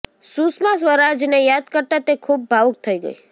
સુષ્મા સ્વરાજને યાદ કરતાં તે ખૂબ ભાવુક થઈ ગઈ